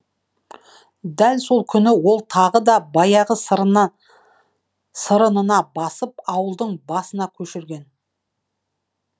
дәл сол күні ол тағы да баяғы басып ауылды басына көшірген